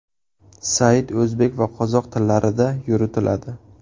Sayt o‘zbek va qozoq tillarida yuritiladi.